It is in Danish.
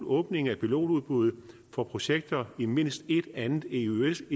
åbning af pilotudbuddet for projekter i mindst et andet eøs